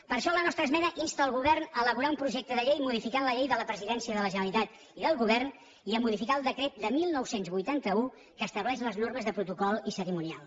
per això la nostra esmena insta el govern a elaborar un projecte de llei que modifiqui la llei de la presidència de la generalitat i del govern i a modificar el decret de dinou vuitanta u que estableix les normes de protocol i cerimonial